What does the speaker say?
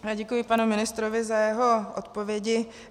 Děkuji panu ministrovi za jeho odpovědi.